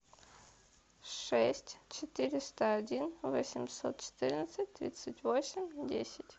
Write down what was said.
шесть четыреста один восемьсот четырнадцать тридцать восемь десять